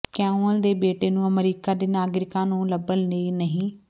ਕਯੂਐਲ ਦੇ ਬੇਟੇ ਨੂੰ ਅਮਰੀਕਾ ਦੇ ਨਾਗਰਿਕਾਂ ਨੂੰ ਲੱਭਣ ਲਈ ਨਹੀਂ